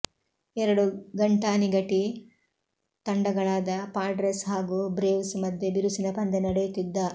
ಎರಡು ಘಂಟಾನಿಘಟಿ ತಂಡಗಳಾದ ಪಾಡ್ರೆಸ್ ಹಾಗು ಬ್ರೇವ್ಸ್ ಮಧ್ಯೆ ಬಿರುಸಿನ ಪಂದ್ಯ ನಡೆಯುತ್ತಿದ್ದ